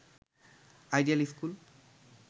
ideal school